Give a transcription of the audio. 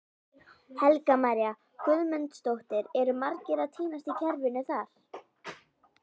Helga María Guðmundsdóttir: Eru margir að týnast í kerfinu þar?